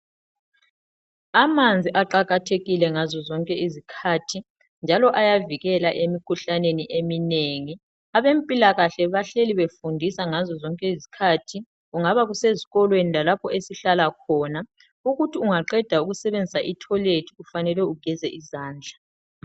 Amanzi aqakathekile ngazo zonke izikhathi njalo ayavikela emikhuhlaneni eminengi abempilakahle bahleli befundisa ngazo zonke izikhathi kungaba kusezikolweni lalapho esihlala khona ukuthi ungaqeda ukusebenzisa i toilet kufanele ugeze izandla.